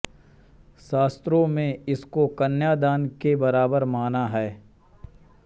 शास्त्रों में इसको कन्यादान के बराबर माना है